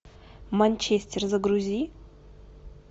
манчестер загрузи